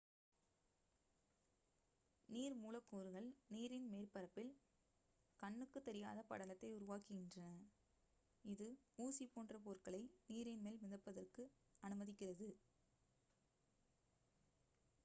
நீர் மூலக்கூறுகள் நீரின் மேற்பரப்பில் கண்ணுக்குத் தெரியாத படலத்தை உருவாக்குகின்றன இது ஊசி போன்ற பொருட்களை நீரின் மேல் மிதப்பதற்கு அனுமதிக்கிறது